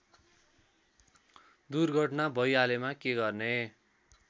दुर्घटना भैहालेमा के गर्ने